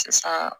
Sisan